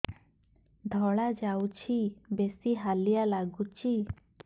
ଧଳା ଯାଉଛି ବେଶି ହାଲିଆ ଲାଗୁଚି